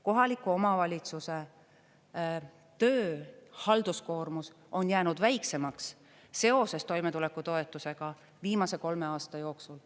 Kohaliku omavalitsuse töö, halduskoormus on jäänud väiksemaks seoses toimetulekutoetusega viimase kolme aasta jooksul.